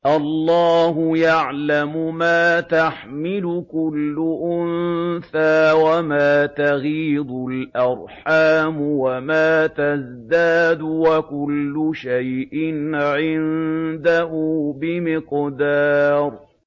اللَّهُ يَعْلَمُ مَا تَحْمِلُ كُلُّ أُنثَىٰ وَمَا تَغِيضُ الْأَرْحَامُ وَمَا تَزْدَادُ ۖ وَكُلُّ شَيْءٍ عِندَهُ بِمِقْدَارٍ